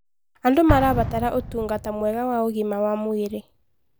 Andũ marabatara ũtungata mwega wa ũgima wa mwĩrĩ.